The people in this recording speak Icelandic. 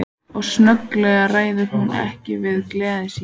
Og snögglega ræður hún ekki við gleði sína.